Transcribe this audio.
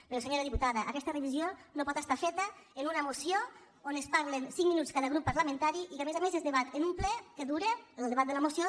però senyora diputada aquesta revisió no pot ser feta en una moció on parla cinc minuts cada grup parlamentari i que a més a més es debat en un ple que dura el debat de la moció